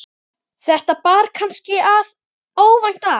þetta bar kannski óvænt að.